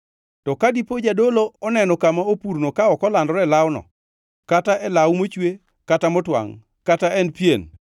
“To ka diponi jadolo oneno kama opurno ka ok olandore e lawno, kata e law mochwe kata motwangʼ, kata e pien,